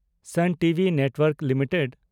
ᱥᱟᱱ TV network limited